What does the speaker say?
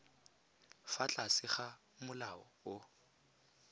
fa tlase ga molao o